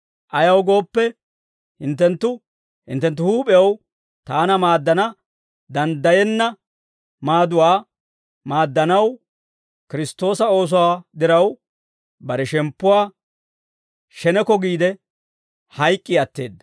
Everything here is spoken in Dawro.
Ayaw gooppe, hinttenttu hinttenttu huup'ew taana maaddana danddayenna maaduwaa maaddanaw, Kiristtoosa oosuwaa diraw, bare shemppuwaa sheneko giide, hayk'k'i atteedda.